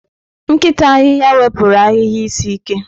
Nkịta ahihia wepụrụ ahịhịa isi ike.